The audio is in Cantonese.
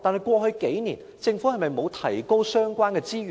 過去數年，政府是否沒有提高相關資源呢？